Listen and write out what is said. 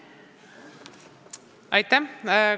Aitäh!